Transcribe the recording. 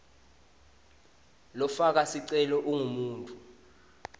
lofaka sicelo ungumuntfu